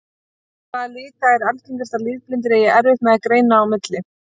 Hvaða lita er algengast að litblindir eigi erfitt með að greina á milli?